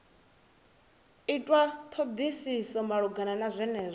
itwa thodisiso malugana na zwenezwo